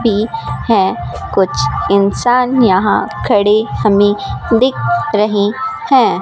भी है कुछ इंसान यहां खड़े हमें दिख रहें हैं।